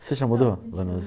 Você já mudou, Vanusa?